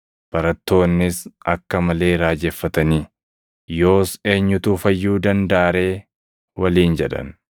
Barattoonnis akka malee raajeffatanii, “Yoos eenyutu fayyuu dandaʼa ree?” waliin jedhan.